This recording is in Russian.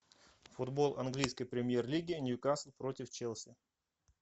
футбол английской премьер лиги ньюкасл против челси